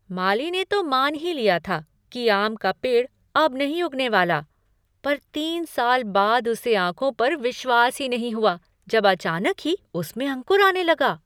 माली ने तो मान ही लिया था कि आम का पेड़ अब नहीं उगने वाला, पर तीन साल बाद उसे आँखों पर विश्वास ही नहीं हुआ जब अचानक ही उसमें अंकुर आने लगा।